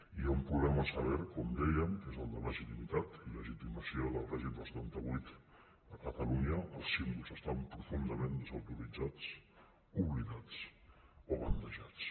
i hi ha un problema sever com dèiem que és el de legitimitat i legitimació del règim del setanta vuit a catalunya els símbols estan profundament desautoritzats oblidats o bandejats